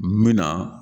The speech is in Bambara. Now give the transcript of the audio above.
Min na